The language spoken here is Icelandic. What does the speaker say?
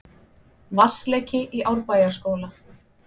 Vatnsleki í Árbæjarskóla